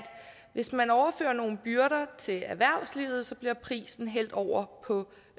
hvis man overfører nogle byrder til erhvervslivet bliver prisen hældt over på